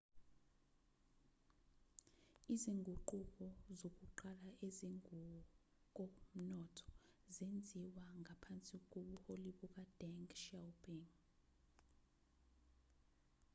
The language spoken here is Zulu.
izinguquko zokuqala ezingokomnotho zenziwa ngaphansi kobuholi bukadeng xiaoping